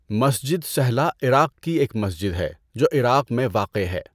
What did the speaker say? مسجد سہلہ عراق کی ایک مسجد ہے جو عراق میں واقع ہے۔